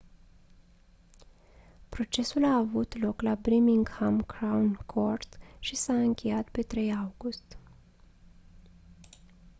procesul a avut loc la birmingham crown court și s-a încheiat pe 3 august